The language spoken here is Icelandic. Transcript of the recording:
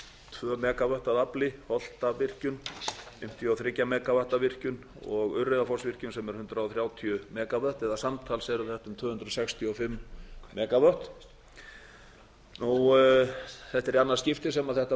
tvö megavött að afli holtavirkjun fimmtíu og þrjú megavatta virkjun og urriðafossvirkjun sem er hundrað þrjátíu megavött eða samtals eru þetta um tvö hundruð sextíu og fimm megavött þetta er í annað skipti sem þetta